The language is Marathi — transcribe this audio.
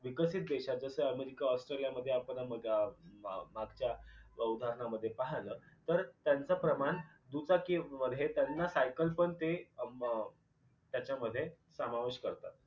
विकसित देशात जसे अमेरिका ऑस्ट्रेलिया मध्ये आपण अ मग मागच्या उदहरणामध्ये पाहिल तर त्यांचे प्रमाण दुचाकी मध्ये त्यांना सायकल पण म त्याच्यामध्ये समावेश करतात.